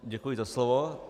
Děkuji za slovo.